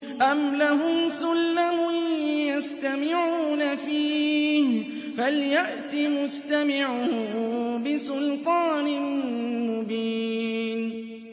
أَمْ لَهُمْ سُلَّمٌ يَسْتَمِعُونَ فِيهِ ۖ فَلْيَأْتِ مُسْتَمِعُهُم بِسُلْطَانٍ مُّبِينٍ